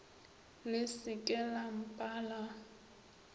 le se ke la mpala